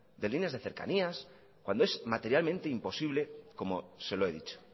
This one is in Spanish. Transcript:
de líneas de cercanías cuando es materialmente imposible como se lo he dicho